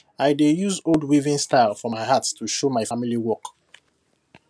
i dey use old weaving style for my art to show my family work